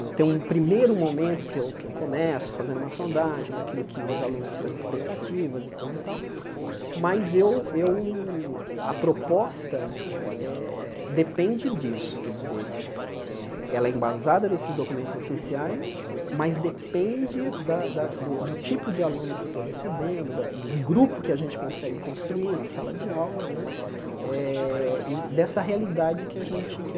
eu tenho um primeiro momento que eu que eu começo fazendo uma sondagem daquilo que os alunos, das expectativas e coisa e tal, mas eu eu a proposta eh depende disso, quer dizer, eh ela é embasada nesses documentos oficiais, mas depende da da do do tipo de aluno que eu estou recebendo, da do grupo que a gente consegue construir na sala de aula né eh e dessa realidade que a gente que